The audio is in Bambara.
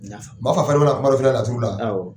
Mafa fana bɛ na kuma dɔ f'i ɲɛna laturu la.